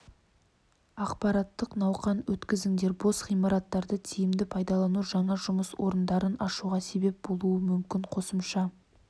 ақпараттық науқан өткізіңдер бос ғимараттарды тиімді пайдалану жаңа жұмыс орындарын ашуға себеп болуы мүмкін қосымша